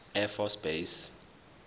air force base